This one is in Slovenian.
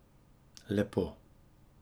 Lepo.